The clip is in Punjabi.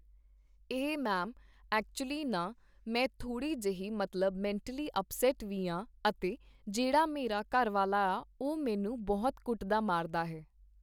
ਇਹ ਮੈਮ, ਐਕਚੁਅਲੀ ਨਾ ਮੈਂ ਥੋੜ੍ਹੀ ਜਿਹੀ ਮਤਲਬ ਮੈਂਟਲੀ ਅਪਸੈੱਟ ਵੀ ਆਂ ਅਤੇ ਜਿਹੜਾ ਮੇਰਾ ਘਰਵਾਲਾ ਆ ਉਹ ਮੈਨੂੰ ਬਹੁਤ ਕੁੱਟਦਾ ਮਾਰਦਾ ਹੈ